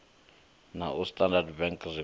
na a standard bank zwinwe